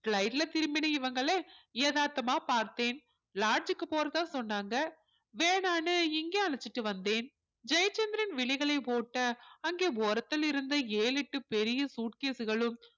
flight ல திரும்பின இவங்கள எதார்த்தமா பார்த்தேன் lodge க்கு போறதா சொன்னாங்க வேணான்னு இங்க அழைச்சிட்டு வந்தேன் ஜெயச்சந்திரன் விழிகளை ஓட்ட அங்கே ஓரத்தில் இருந்த ஏழு எட்டு பெரிய suitcase களும்